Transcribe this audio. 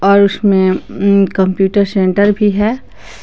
और उसमें अम कंप्यूटर सेंटर भी है।